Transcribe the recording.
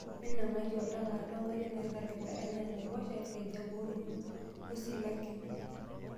Minang'aki oltaka aatua nkariak nairagita enaa naaiposha, irkejek oruko oo silanken.